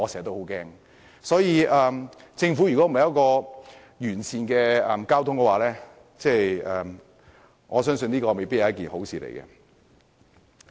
因此，如果政府未能推出完善的交通政策，我相信這未必是一件好事。